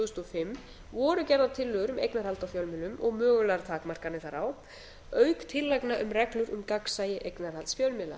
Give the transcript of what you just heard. þúsund og fimm voru gerðar tillögur um eignarhald á fjölmiðlum og mögulegar takmarkanir þar á auk tillagna um reglur um gagnsæi eignarhalds fjölmiðla